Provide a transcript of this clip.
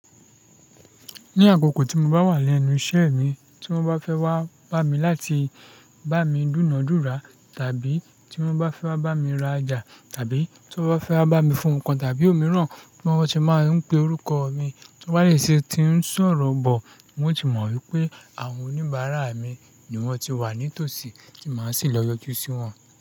Ní àkókò tí mo bá wà lẹ́nu iṣẹ́ mi, tí wọ́n bá fẹ́ wá bá mi láti bá mi dúǹdúnra, tàbí tí wọ́n bá fẹ́ wá bá mi rajà, tàbí tí wọ́n bá fẹ́ wá bá mi fún nǹkan tàbí òmíràn, tí wọ́n bá ti máa ń pe orúkọ mi, tí wọ́n bá dẹ̀ ṣe tí ń sọ̀rọ̀ bọ̀, wun ó ti mọ̀ wípé àwọn oníbàárà mi ni wọ́n ti wà ní tòsí tí màá sì lọ yọjú sí wọn.